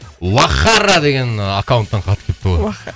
уаххара деген аккаунттан хат келіпті ғой